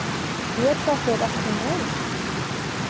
Get þetta ekki meir.